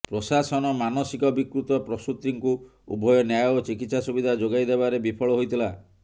ପ୍ରଶାସନ ମାନସିକ ବିକୃତ ପ୍ରସୂତିଙ୍କୁ ଉଭୟ ନ୍ୟାୟ ଓ ଚିକିତ୍ସା ସୁବିଧା ଯୋଗାଇ ଦେବାରେ ବିଫଳ ହୋଇଥିଲା